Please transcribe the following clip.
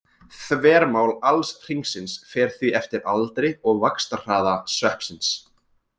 Þvermál alls hringsins fer því eftir aldri og vaxtarhraða sveppsins.